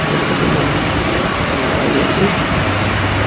ಕೆಲವು ಜನ ಮೊಬೈಲ್ ನಲ್ಲಿ ಮಾತಾಡುತ್ತಿದ್ದಾರೆ.